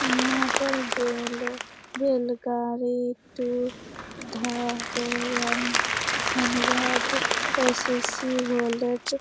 यहाँ पर बैलगाड़ी टू एस.एस.सी. बोले तो --